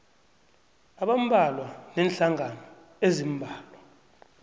abambalwa neenhlangano eziimbalwa